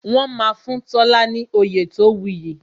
Wọn máa fún Tola ní oyè tó wu yi